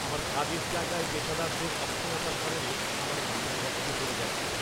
আমার কাজের জায়গায় পেশাদারদের অক্ষমতার কারণে আমার মাথায় রক্ত চড়ে যাচ্ছে!